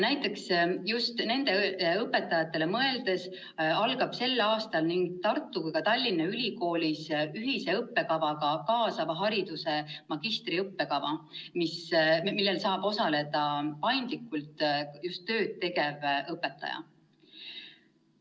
Just nendele õpetajatele mõeldes algab sel aastal nii Tartu kui ka Tallinna Ülikoolis ühise õppekavaga kaasava hariduse magistriõppekava, milles saab paindlikult osaleda just tööd tegev õpetaja.